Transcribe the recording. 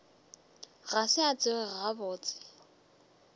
ga se a tsoga gabotse